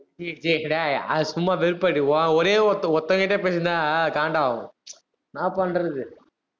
அது சும்மா வெறுப்பாருக்கு உ~ உன் ஒரே ஒருத்தன், ஒருத்தன் கிட்ட பேசிட்டிருந்தா காண்டாகும் என்னா பண்றது